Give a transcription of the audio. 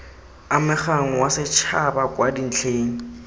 amegang wa setšhaba kwa dintlheng